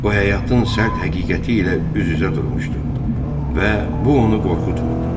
O həyatın sərt həqiqəti ilə üz-üzə durmuşdu və bu onu qorxutmurdu.